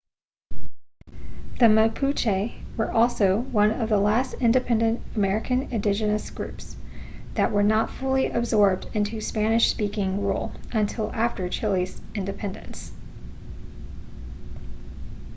the mapuche were also one of the last independent american indigenous groups that were not fully absorbed into spanish-speaking rule until after chile's independence